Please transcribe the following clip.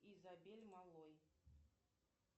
изабель малой